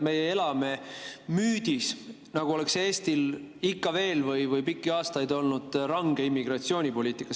Me elame müüdis, nagu oleks Eestil ikka veel või nagu oleks pikki aastaid olnud range immigratsioonipoliitika.